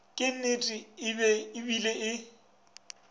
ke nnete e bile e